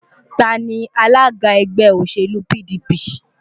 Ta ni alága ẹgbẹ́ òṣèlú PDP?